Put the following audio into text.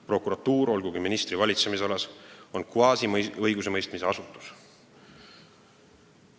Prokuratuur, olgugi et ta on ministri valitsemisalas, on kvaasiõigusemõistmise asutus.